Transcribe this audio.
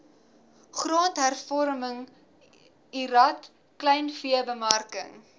grondhervorming lrad kleinveebemarking